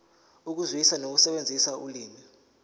ukuzwisisa nokusebenzisa ulimi